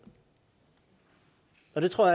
og det tror